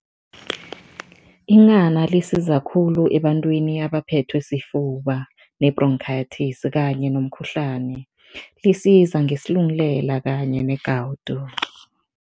Inghana lisiza khulu ebantwini abaphethwe sifuba ne-bronchitis kanye nomkhuhlani. Lisiza ngesilungulela kanye negawudu.